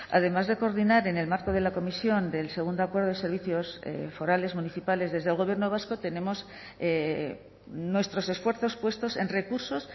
además de coordinar en el marco de la comisión del segundo acuerdo de servicios forales municipales desde el gobierno vasco tenemos nuestros esfuerzos puestos en recursos